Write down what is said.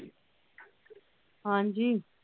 ਹਾਂਜੀ।